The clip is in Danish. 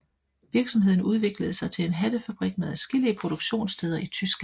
Virksomheden udviklede sig til en hattefabrik med adskillige produktionssteder i Tyskland